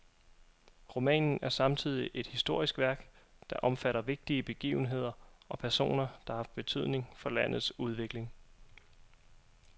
Romanen er samtidig et historisk værk, der omfatter vigtige begivenheder og personer, som har haft betydning for landets udvikling.